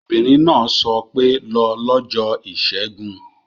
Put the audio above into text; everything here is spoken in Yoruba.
Obìnrin náà sọ pé 'lọ lọ́jọ́ ìṣẹ́gun